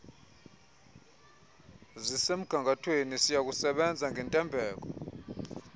zisemgangathweni siyakusebenza ngentembeko